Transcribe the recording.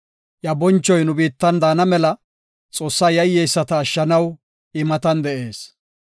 Iya bonchoy nu biittan daana mela, Xoossaa yayyeyisata ashshanaw I matan de7ees.